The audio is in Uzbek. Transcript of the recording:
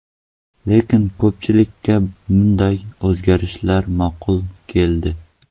Lekin ko‘pchilikka bunday o‘zgarishlar ma’qul keldi.